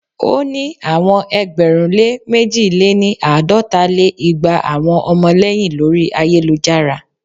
o ni awọn ẹgbẹ̀rún lé mẹ̀ji lé-ní- àádọ́ta lé igba awọn ọmọlẹyin lori ayelujara.